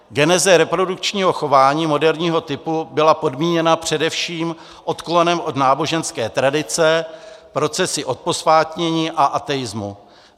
Geneze reprodukčního chování moderního typu byla podmíněna především odklonem od náboženské tradice, procesy odposvátnění a ateismu.